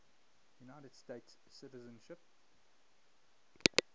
united states citizenship